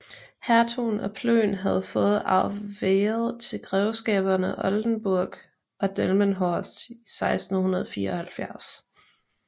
Hertugen af Plön havde fået arveret til grevskaberne Oldenburg og Delmenhorst i 1674